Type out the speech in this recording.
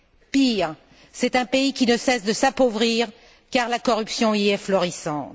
Pire, c'est un pays qui ne cesse de s'appauvrir car la corruption y est florissante.